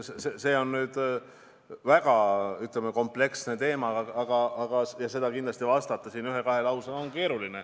Eks see on väga kompleksne teema ja sellele vastata ühe-kahe lausega on keeruline.